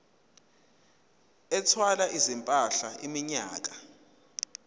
ethwala izimpahla iminyaka